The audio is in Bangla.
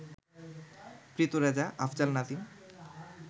প্রীত রেজা, আফজাল নাজিম